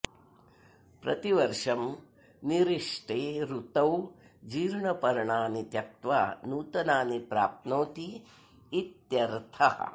प्रतिवर्षं निरिष्टे ऋतौ जीर्णपर्णानि त्यक्त्वा नूतनानि प्राप्नोति इत्यर्थः